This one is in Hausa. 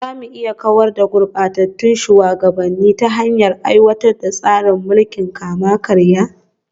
Za mu iya kawar da gurbatattun shugabanni ta hanyar aiwatar da tsarin mulkin kama-karya